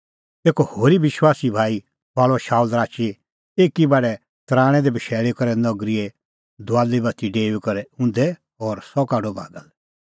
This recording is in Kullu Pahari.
तेखअ होरी विश्वासी भाई थुआल़अ शाऊल राची एकी बडै तराणैं दी बशैल़ी करै नगरीए दुआली बाती छ़ड़ाऊई करै उंधै और सह काढअ बागा लै